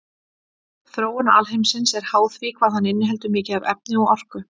Þróun alheimsins er háð því hvað hann inniheldur mikið af efni og orku.